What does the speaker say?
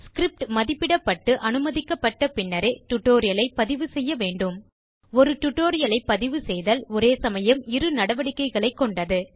script மதிப்பிடப்பட்டு அனுமதிக்கப்பட்ட பின்னரே டியூட்டோரியல் ஐ பதிவு செய்ய வேண்டும் ஒரு டியூட்டோரியல் ஐ பதிவுசெய்தல் ஒரே சமயம் இரு நடவடிக்கைகளைக் கொண்டது